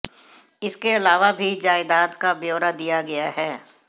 इसके अलावा भी जायदाद का ब्यौरा दिया गया है